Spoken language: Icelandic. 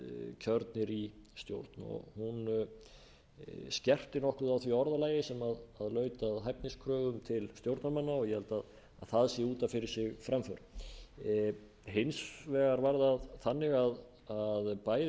kjörnir í stjórn hún skerpti nokkuð á því orðalagi sem laut að hæfniskröfum til stjórnarmanna og ég held að það sé út af fyrir sig framför hins vegar var það þannig að bæði